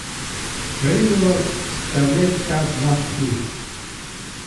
Merilo sta le ta dva kluba.